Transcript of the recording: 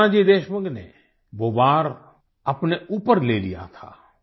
तब नानाजी देशमुख ने वो वार अपने ऊपर ले लिया था